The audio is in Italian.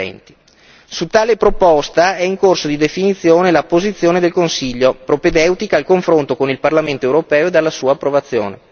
2020. Su tale proposta è in corso di definizione la posizione del Consiglio, propedeutica al confronto con il Parlamento europeo ed alla sua approvazione.